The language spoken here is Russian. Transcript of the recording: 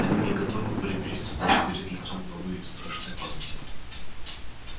они не готовы примириться даже перед лицом новой страшной опасности